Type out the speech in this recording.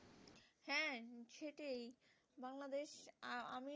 আর আমি,